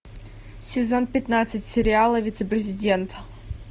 сезон пятнадцать сериала вице президент